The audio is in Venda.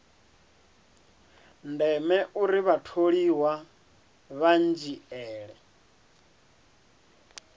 ndeme uri vhatholiwa vha dzhiele